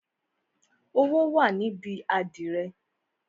Owó wà níbi àdìrẹ oo